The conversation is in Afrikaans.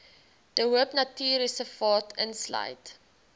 de hoopnatuurreservaat insluit